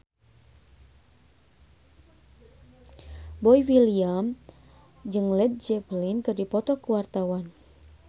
Boy William jeung Led Zeppelin keur dipoto ku wartawan